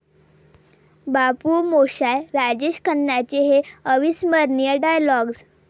बाबू मोशाय...'राजेश खन्नांचे हे अविस्मरणीय डायलॉग्ज